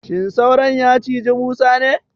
Shin sauron ya cizi Musa ne?